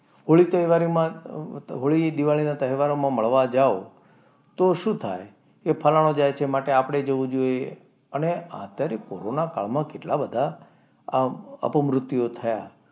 હોળી તહેવારમાં હોળી દિવાળી ના તહેવારોમાં મળવા જાઓ તો શું થાય કે ફલાણો જાય છે મતલબ આપણે બી જવું જોઈએ. અને અત્યારે કોરોના કાળમાં કેટલા બધા અપમૃત્યુઓ થયા?